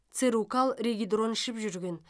церукал регидрон ішіп жүрген